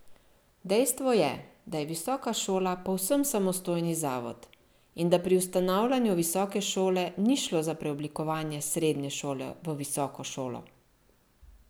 Dejstvo je, da je visoka šola povsem samostojni zavod in da pri ustanavljanju visoke šole ni šlo za preoblikovanje srednje šole v visoko šolo!